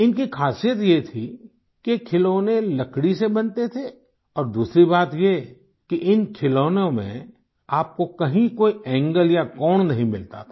इनकी खासियत ये थी कि ये खिलौने लकड़ी से बनते थे और दूसरी बात ये कि इन खिलौनों में आपको कहीं कोई एंगल या कोण नहीं मिलता था